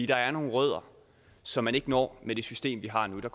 der er nogle rødder som man ikke når med det system vi har nu